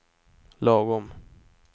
lagom